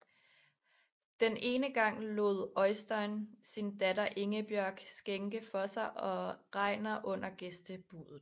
Den ene gang lod Øystein sin datter Ingebjørg skænke for sig og Regnar under gæstebuddet